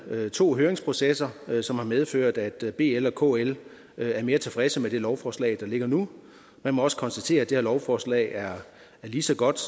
været to høringsprocesser som har medført at bl og kl er mere tilfredse med det lovforslag der ligger nu man må også konstatere at det her lovforslag er lige så godt